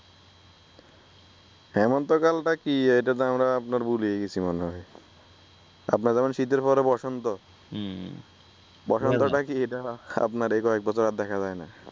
হেমন্তকালটা কি এইটা তো আমরা ভুলিই গেসি মনে হয় । আপনার যেমন শীতের পরে বসন্ত উম বসন্ত টা কি আমরা এই কয়েকবছর আর দেখা যায় নাই